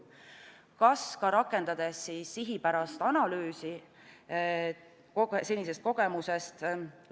Kas ka rakendades sihipärast analüüsi senisest kogemusest?